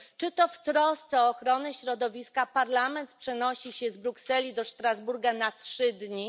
Czy to w trosce o ochronę środowiska Parlament przenosi się z Brukseli do Strasburga na trzy dni?